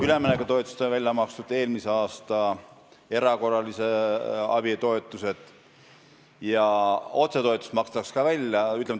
Üleminekutoetused on välja makstud, eelmise aasta erakorralise abi toetused ja otsetoetus makstakse ka välja.